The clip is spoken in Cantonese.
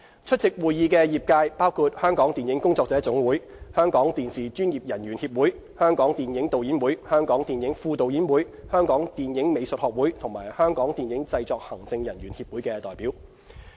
出席會議的業界包括香港電影工作者總會、香港電視專業人員協會、香港電影導演會、香港電影副導演會、香港電影美術學會及香港電影製作行政人員協會的代表。